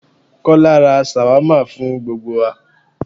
Kọ́lá ra ṣàwámà fún gbogbo wa